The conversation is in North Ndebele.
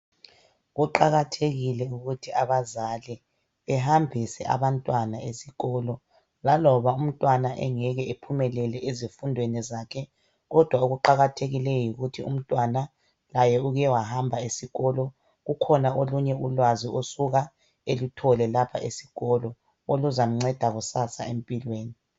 Kuqakathekile ukuthi abazali behambise abantwana esikolo. Laloba umntwana engeke ephumelele ezifundweni zakhe kodwa okuqakathekileyo yikuthi umntwana laye ukewahamba esikolo kukhona olunye ulwazi osuka eluthole lapha esikolo. Oluzamceda kusasa empilweni.